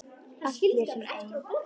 Allar sem ein.